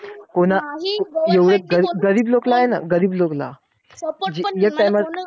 कोना एवढं गरीब लोकला हेना गरीब लोकला जे एक time चं